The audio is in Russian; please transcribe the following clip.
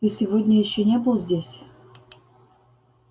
ты сегодня ещё не был здесь